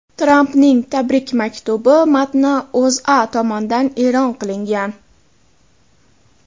Trampning tabrik maktubi matni O‘zA tomonidan e’lon qilingan .